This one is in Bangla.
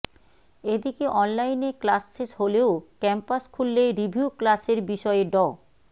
এদিকে অনলাইনে ক্লাস শেষ হলেও ক্যাম্পাস খুললে রিভিউ ক্লাসের বিষয়ে ড